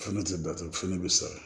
Fana tɛ datugu fana bɛ sara